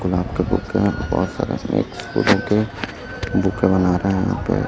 गुलाब का बुके है बहोत सारे मिक्स फूलों के बुके बना रहे हैं यहां पे--